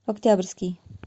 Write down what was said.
октябрьский